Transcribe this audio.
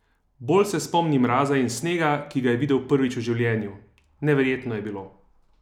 Bolj se spomni mraza in snega, ki ga je videl prvič v življenju: "Neverjetno je bilo.